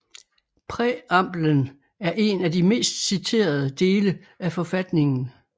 Præambelen er en af de mest citerede dele af forfatningen